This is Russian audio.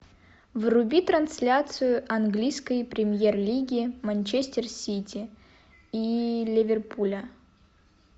вруби трансляцию английской премьер лиги манчестер сити и ливерпуля